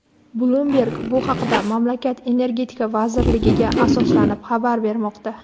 "Bloomberg" bu haqda mamlakat Energetika vazirligiga asoslanib xabar bermoqda.